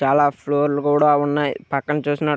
చాలా ఫ్లోర్ లు కూడా ఉన్నాయ్. పక్కన చూసినట్--